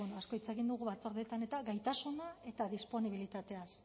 asko hitz egin dugu batzordeetan eta gaitasunaz eta disponibilitateaz